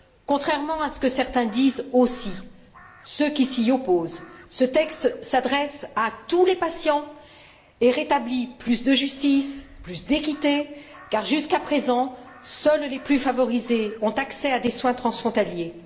Contrairement à ce que certains disent aussi, ceux qui s'y opposent, ce texte s'adresse à tous les patients et rétablit plus de justice, plus d'équité, car jusqu'à présent, seuls les plus favorisés ont accès à des soins transfrontaliers.